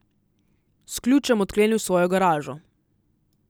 S ključem odklenil svojo garažo.